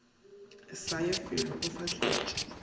sa ya felo o fahletše